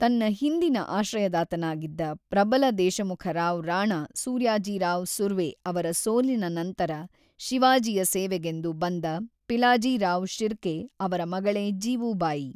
ತನ್ನ ಹಿಂದಿನ ಆಶ್ರಯದಾತನಾಗಿದ್ದ ಪ್ರಬಲ ದೇಶಮುಖ ರಾವ್ ರಾಣಾ ಸೂರ್ಯಾಜಿರಾವ್ ಸುರ್ವೆ ಅವರ ಸೋಲಿನ ನಂತರ ಶಿವಾಜಿಯ ಸೇವೆಗೆಂದು ಬಂದ ಪಿಲಾಜಿರಾವ್ ಶಿರ್ಕೆ ಅವರ ಮಗಳೇ ಜೀವೂಬಾಯಿ.